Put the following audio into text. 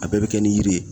A bɛɛ bɛ kɛ ni yiri ye